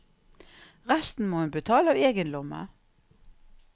Resten må hun betale av egen lomme.